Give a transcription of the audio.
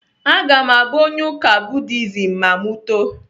Aga m abụ onye ụka Buddhism ma m too.